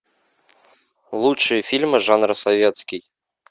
лучшие фильмы жанра советский